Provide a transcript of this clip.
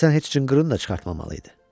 Həsən heç cınqırını da çıxartmamalı idi.